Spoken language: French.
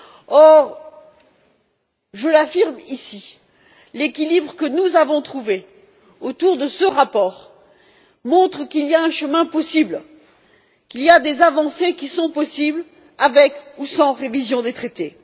Or, je l'affirme ici, l'équilibre que nous avons trouvé autour de ce rapport montre qu'il y a un chemin possible, qu'il y a des avancées qui sont possibles, avec ou sans révision des traités.